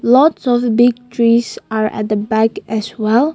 lot of big trees are at the back as well.